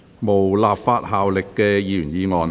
無立法效力的議員議案。